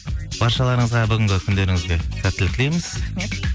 баршаларыңызға бүгінгі күндеріңізге сәттілік тілейміз рахмет